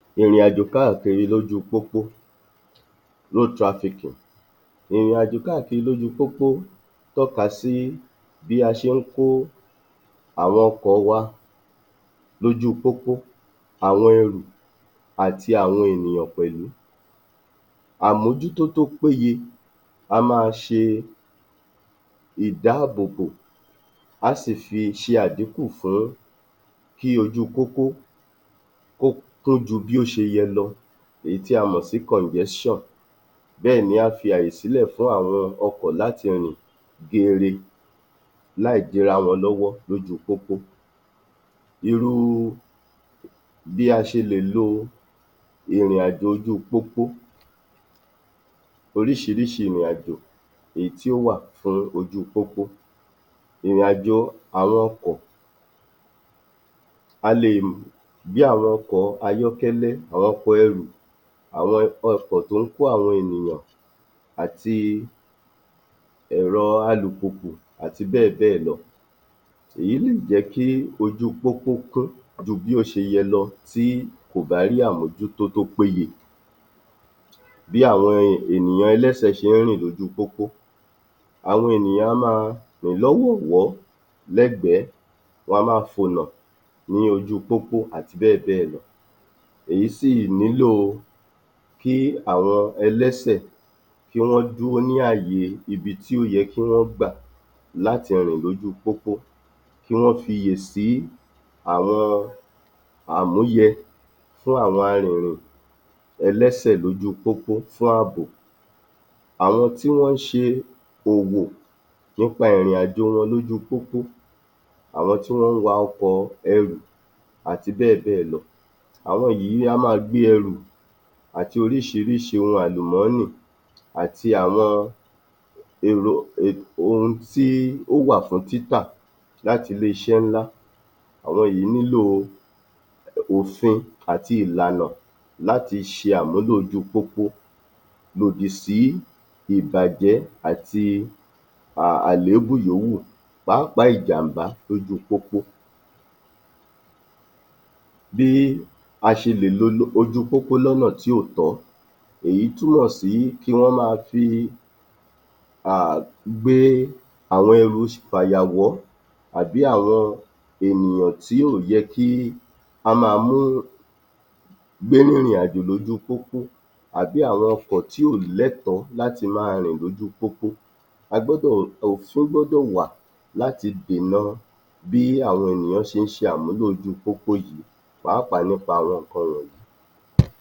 28. Ìrìnàjò káàkiri lójúu pópó (Road Trafficking) Ìrìnàjò káàkiri lójúu pópó tọ́ka sí bí a ṣe ń kó àwọn ọkọ̀ wa lójúu pópó, àwọn ẹrù àti àwọn ènìyàn pẹ̀lú. Àmójútó tó péye, a máa ṣe ìdáàbòbò, á sì fi ṣe adíkùn fún kí ojúu pópó um kó kún ju bí ó ṣe yẹ lọ èyí tí a mọ̀ sí kọ̀ǹjẹ́ṣàn Bẹ́ẹ̀ni á fi ààyè sílẹ̀ fún àwọn ọkọ̀ láti rìn geere láìdíra wọn lọ́wọ́ lójúu pópó. Irúu bí a ṣe lè lo ìrìnàjò ojú pópó, oríṣiríṣi ìrìnàjò èyí tí ó wà fún ojúu pópó. Ìrìn-àjò àwọn ọkọ̀, a lè gbé àwọn ọkọ̀ ayọ́kẹ́lẹ́, àwọn ọkọ̀ ẹrù um àwọn ọkọ̀ tó ń kó àwọn ènìyàn àti ẹ̀rọ alùpùpù àti bẹ́ẹ̀ bẹ́ẹ̀ lọ, èyí lè jẹ́ kí ojúu pópó kún ju bí ó ṣe yẹ lọ tí kò bá rí àmójútó tó péye. Bí àwọn ènìyàn ẹlẹ́sẹ̀ ṣe ń rìn lójú pópó Àwọn ènìyàn a máa rìn lọ́wọ̀ọ̀wọ́ lẹ́gbẹ̀ẹ́, wọn a máa fònà ní ojú pópó àti bẹ́ẹ̀ bẹ́ẹ̀ lọ, èyí sì nílò kí àwọn ẹlẹ́sẹ̀ kí wọ́n dúró ní ààyè ibi tí ó yẹ kí wọ́n gbà láti rìn lójúu pópó, kí wọ́n fiyè sí àwọn àmúyẹ fún àwọn arìnrìn ẹlẹ́sẹ̀ lójú pópó fún àbò. Àwọn tí wọ́n ń ṣe òwò nípa ìrìnàjò wọn lójúu pópó, àwọn tí wọ́n ń wa ọkọ̀ọ um àti bẹ́ẹ̀ bẹ́ẹ̀ lọ. Àwọn yìí a máa gbé ẹrù àti oríṣiríṣi ohun àlùmọ́nì àti àwọn [umum] ohun tí ó wà fún títà láti ilé-iṣẹ́ ńlá, àwọn yìí nílò òfin àti ìlànà láti ṣe àmúlò ojúu pópó. Lòdì sí ìbàjẹ́ àti um àlébù yòówù pàápàá ìjàmbá lojúu pópó. Bí a ṣe lè lo ojúu pópó lọ́nà tí ò tọ́, èyí túmọ̀ sí kí wọ́n máa fi um gbé àwọn ẹrù fàyàwọ́ àbí àwọn ènìyàn tí ò yẹ kí á máa mú gbénú ìrìnàjò lójú pópó àbí àwọn ọkọ̀ tí ò lẹ́tọ̀ọ́ láti máa rìn lójúu pópó. [umum] Òfin gbọ́dọ̀ wà láti dènà bí àwọn ṣe ń ṣe àmúlò ojúu pópó yìí pàápàá nípa àwọn nǹkan wọ̀nyí